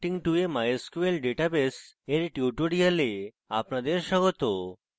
connecting to a mysql database এর tutorial আপনাদের স্বাগত